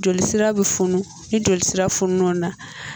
Jolisira bi funu ni jolisira funu na